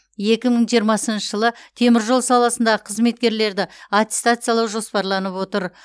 екі мың жиырмасыншы жылы теміржол саласындағы қызметкерлерді аттестациялау жоспарланып отыр